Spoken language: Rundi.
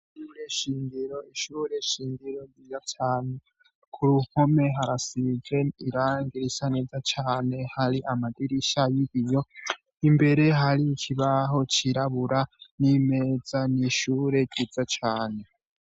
Ishure nshingiro nziza cane kuruhome harasize irangi risa neza cane hari amadirisha yibiyo imbere hari ikibaho cirabura nimeza nishure ryiza cane